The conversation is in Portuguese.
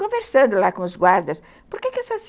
Conversando lá com os guardas, por que essas...